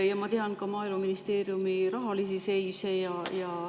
Ma tean ka Maaeluministeeriumi rahalisi seise.